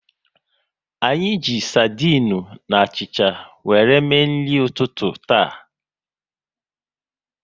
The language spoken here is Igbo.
Anyị ji sardinu na achịcha wéré mee nri ụtụtụ taa